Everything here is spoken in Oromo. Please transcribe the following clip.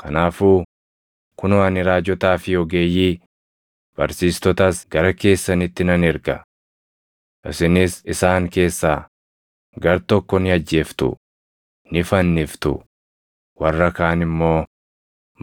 Kanaafuu, kunoo ani raajotaa fi ogeeyyii, barsiistotas gara keessanitti nan erga. Isinis isaan keessaa gartokko ni ajjeeftu; ni fanniftu; warra kaan immoo